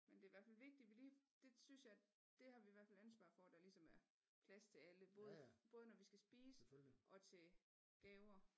Men det er i hvert fald vigtigt vi lige det synes jeg det har vi i hvert fald ansvar for der ligesom er plads til alle både når vi skal spise og til gaver